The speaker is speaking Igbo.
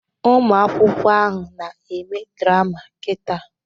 Ụmụ akwụkwọ ahụ na-eme drama kita.